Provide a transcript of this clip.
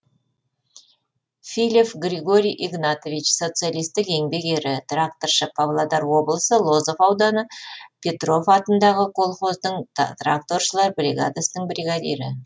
филев григорий игнатович социалистік еңбек ері тракторшы павлодар облысы лозов ауданы петров атындағы колхоздың тракторшылар бригадасының бригадирі